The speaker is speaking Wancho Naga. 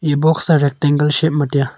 eya box a rectangle shape ma taiya.